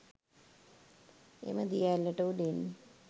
එම දිය ඇල්ලට උඩින්